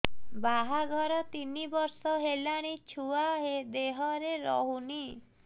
ବାହାଘର ତିନି ବର୍ଷ ହେଲାଣି ଛୁଆ ଦେହରେ ରହୁନି